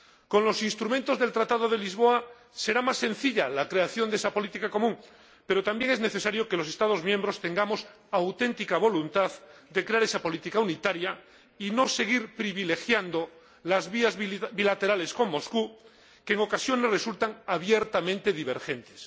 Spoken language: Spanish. Con los instrumentos del Tratado de Lisboa será más sencilla la creación de esa política común, pero también es necesario que los Estados miembros tengamos auténtica voluntad de crear esa política unitaria y no seguir privilegiando las vías bilaterales con Moscú, que en ocasiones resultan abiertamente divergentes.